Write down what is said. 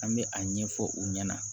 An bɛ a ɲɛfɔ u ɲɛna